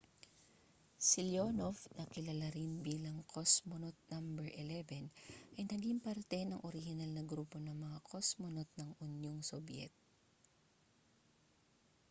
si leonov na kilala rin bilang cosmonaut no 11 ay naging parte ng orihinal na grupo ng mga kosmonot ng unyong sobyet